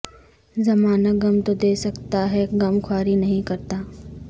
زمانہ غم تو دے سکتا ہے غمخواری نہیں کرتا